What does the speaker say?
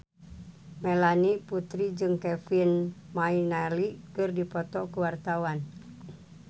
Melanie Putri jeung Kevin McNally keur dipoto ku wartawan